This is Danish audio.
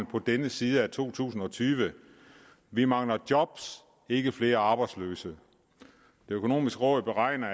på denne side af to tusind og tyve vi mangler job ikke flere arbejdsløse det økonomiske råd beregner